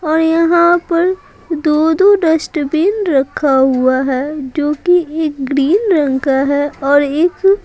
और यहां पर दो-दो डस्टबिन रखा हुआ है जो कि एक ग्रीन रंग का हैऔर एक--